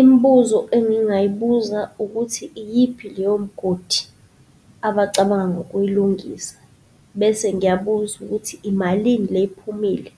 Imibuzo engingayibuza ukuthi, iyiphi leyo mgodi abacabanga ukuyilungisa? Bese ngiyabuza ukuthi imalini lephumile?